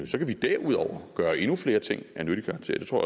så kan vi derudover gøre endnu flere ting af nyttig karakter det tror